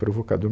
Provocador.